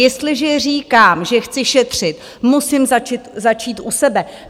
Jestliže říkám, že chci šetřit, musím začít u sebe.